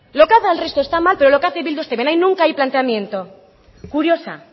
lo que hace el resto está mal pero lo que hace bildu está bien ahí nunca hay planteamiento curiosa